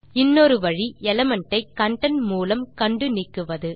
இன்னொரு வழி எலிமெண்ட் ஐ கன்டென்ட் மூலம் கண்டு நீக்குவது